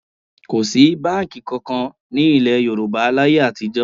Kò sí báǹkì kankan ní ilẹ̀ Yorùbá láyé àtijọ́